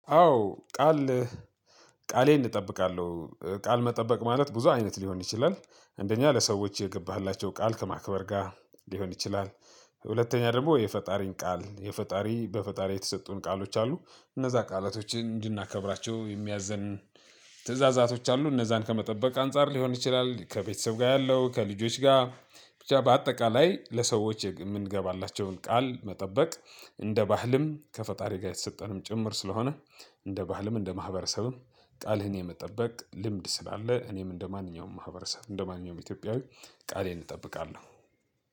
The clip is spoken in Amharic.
አዎ ቃል ቃሌን እጠብቃለሁ ቃል መጠበቅ ማለት ብዙ አይነት ሊሆን ይችላል። አንደኛ ለሰዎች የገባህላቸው ቃል ከማክበር ጋር ሊሆን ይችላል። ሁለተኛ ደግሞ የፈጣሪን ቃል የፈጣሪ በፈጣሪ የተሰጡን ቃሎች አሉ። እነዛ ቃላቶችን እንድናከብራቸው የሚያዘን ትእዛዛቶች አሉ እነዛን ከመጠበቅ አንፃር ሊሆን ይችላል። ከቤተሰብ ጋር ያለው ከልጆች ጋር በአጠቃላይ ለሰዎች የምንገባላቸውን ቃል መጠበቅ። እንደ ባህልም ከፈጣሪ ጋር የተሰጠን ጭምር ስለሆነ። እንደ ባህልም እንደ ማህበረሰብም ቃልህን የመጠበቅ ልምድ ስላለ እኔም እንደማንኛውም ማህበረሰብ እንደማንኛውም ኢትዮጵያዊ ቃሌን እጠብቃለሁ።